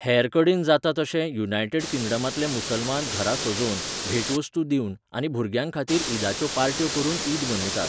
हेरकडेन जाता तशें, युनायटेड किंगडमांतले मुसलमान घरां सजोवन, भेटवस्तू दिवन आनी भुरग्यांखातीर ईदाच्यो पार्ट्यो करून ईद मनयतात.